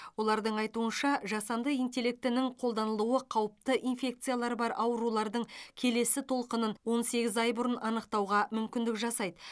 олардың айтуынша жасанды интеллектінің қолданылуы қауіпті инфекциялары бар аурулардың келесі толқынын он сегіз ай бұрын анықтауға мүмкіндік жасайды